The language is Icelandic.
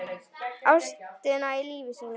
Ástina í lífi sínu.